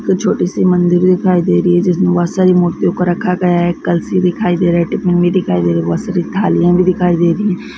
छोटी सी मंदिर दिखाई दे रही है जिसमें बहुत सारी मूर्तियों को रखा गया है कलशी दिखाई दे रहा है टिफिन भी दिखाई दे रहा है बहुत सारी थालियां भी दिखाई दे रही है।